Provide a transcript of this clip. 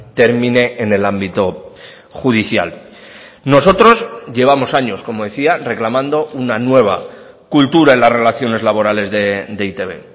termine en el ámbito judicial nosotros llevamos años como decía reclamando una nueva cultura en las relaciones laborales de e i te be